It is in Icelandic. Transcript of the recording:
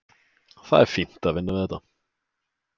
Það er fínt að vinna þetta.